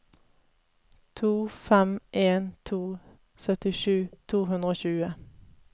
to fem en to syttisju to hundre og tjue